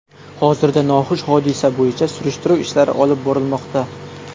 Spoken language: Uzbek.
Hozirda noxush hodisa bo‘yicha surishtiruv ishlari olib borilmoqda.